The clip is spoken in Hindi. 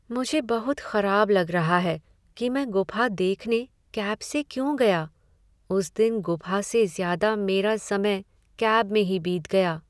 मुझे बहुत खराब लग रहा है कि मैं गुफ़ा देखने कैब से क्यों गया। उस दिन गुफा से ज़्यादा मेरा समय कैब में ही बीत गया।